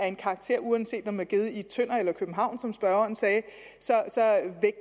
en karakter uanset om den er givet i tønder eller københavn som spørgeren sagde